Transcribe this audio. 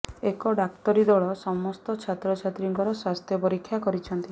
ଏକ ଡାକ୍ତରୀ ଦଳ ସମସ୍ତ ଛାତ୍ରଛାତ୍ରୀଙ୍କର ସ୍ୱାସ୍ଥ୍ୟ ପରୀକ୍ଷା କରିଛନ୍ତି